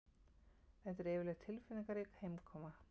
Þetta er yfirleitt tilfinningarík heimkoma